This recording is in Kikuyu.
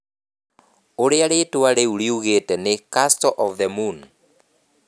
Ũrĩa rĩĩtwa rĩu riugĩte nĩ Castle of the Moon.